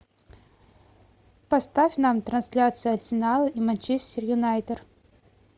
поставь нам трансляцию арсенала и манчестер юнайтед